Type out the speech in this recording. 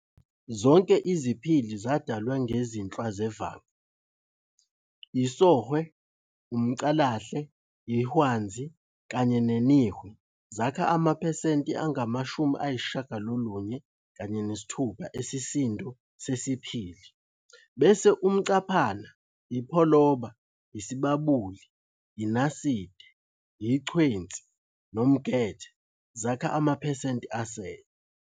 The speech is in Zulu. Zonke iziphili zadalwe ngezinhlwa zevanga, isOhwe, umCalahle, iHwanzi, kanye neNihwe zakha amaphsenti angama-96 esisindo sesiphili, bese umCaphana, iPholoba, ISibabuli, iNaside, iChwenzi, nomGethe zakha amaphesenti asele.